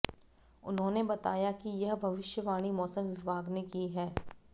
उन्होंने बताया कि यह भविष्यवाणी मौसम विभाग ने की है